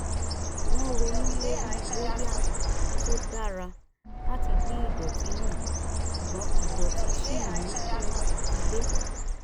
wọ́n ronú lórí bóyá tó dára láti dín idọ̀tí nu ṣùgbọ́n idọ̀tí ṣì ń kún ilé